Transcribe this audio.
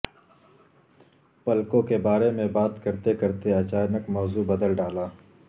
پلکوں کے بارے میں بات کرتے کرتے اچانک موضوع بدل ڈالا